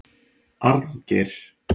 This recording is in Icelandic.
Arngeir